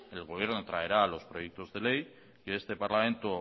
el gobierno traerá los proyectos de ley que este parlamento